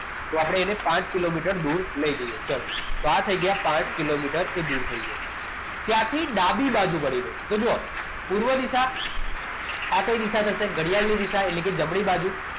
તો આપણે એને પાંચ કિલોમીટર દૂર લઈ જઈએ ચલો તો આ થઈ ગયા પાંચ કિલોમીટર દૂર થઈ જશે ત્યારથી ડાબી બાજુ વળીને તો જો પૂર્વ દિશા આ કઈ દિશા થશે ઘડિયાળની દિશા ઘડિયાળની જમણી બાજુ